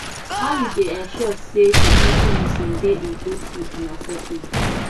how you dey ensure say community meeting dey inclusive and accessible